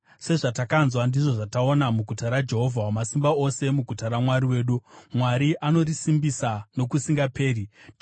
Sezvatakanzwa, ndizvo zvataona, muguta raJehovha Wamasimba Ose, muguta raMwari wedu: Mwari anorisimbisa nokusingaperi. Sera